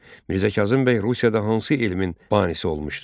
Mirzə Kazım bəy Rusiyada hansı elmin banisi olmuşdur?